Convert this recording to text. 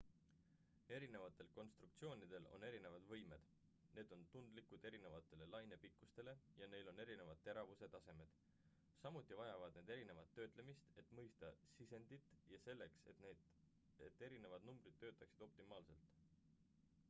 erinevatel konstruktsioonidel on erinevad võimed need on tundlikud erinevatele lainepikkustele ja neil on erinevad teravuse tasemed samuti vajavad need erinevat töötlemist et mõista sisendit ja selleks et erinevad numbrid töötaksid optimaalselt